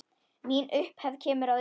Mín upphefð kemur að utan.